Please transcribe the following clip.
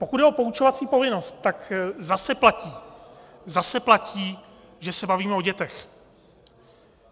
Pokud jde o poučovací povinnost, tak zase platí, zase platí, že se bavíme o dětech.